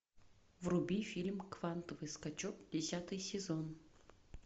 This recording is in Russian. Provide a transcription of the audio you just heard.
вруби фильм квантовый скачок десятый сезон